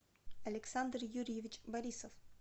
александр юрьевич борисов